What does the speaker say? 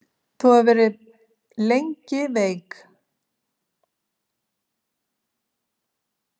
Þú hefur verið lengi veik.